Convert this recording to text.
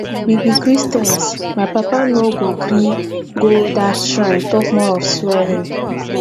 we be christians my papa no go gree go dat shrine talk more of swearing